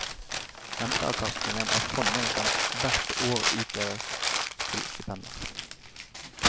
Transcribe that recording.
Renteavkastningen av fondet kan hvert år utdeles til stipender.